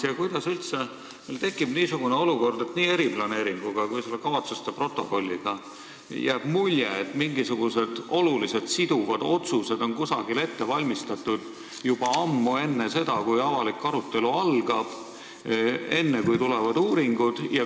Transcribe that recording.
Ja kuidas üldse tekib niisugune olukord, et nii eriplaneeringu kui selle kavatsuste protokolli puhul jääb mulje, et mingisugused olulised siduvad otsused on kusagil ette valmistatud juba ammu enne seda, kui algab avalik arutelu, enne, kui tulevad uuringud?